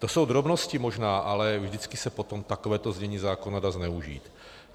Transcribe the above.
To jsou drobnosti možná, ale vždycky se potom takové znění zákona dá zneužít.